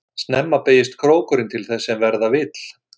Snemma beygist krókurinn til þess sem verða vill.